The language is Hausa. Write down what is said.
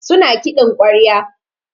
Su na kiɗin ƙwarya.